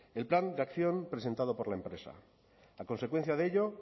el plan de acción presentado por la empresa a consecuencia de ello